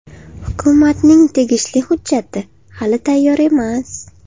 Hukumatning tegishli hujjati hali tayyor emas .